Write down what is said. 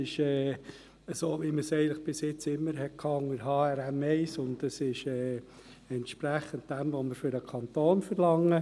Es wäre einerseits so, wie es immer war unter HRM1, und es ist entsprechend das, was wir für den Kanton verlangen.